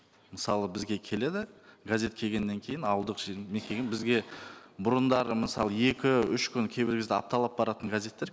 мысалы бізге келеді газет келгеннен кейін ауылдық жер мекен бізге бұрындары мысалы екі үш күн кейбір кезде апталап баратын газеттер